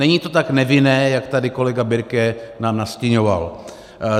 Není to tak nevinné, jak tady kolega Birke nám nastiňoval.